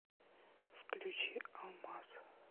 включи алмаз